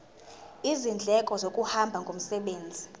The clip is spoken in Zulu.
izindleko zokuhamba ngomsebenzi